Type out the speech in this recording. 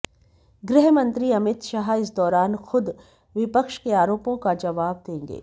गृह मंत्री अमित शाह इस दौरान खुद विपक्ष के आरोपों का जवाब देंगे